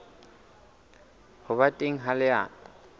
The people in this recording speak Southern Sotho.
ho ba teng ha lenaneo